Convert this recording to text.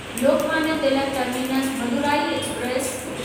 Lokmanya Tilak terminus Madurai express